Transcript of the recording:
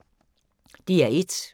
DR1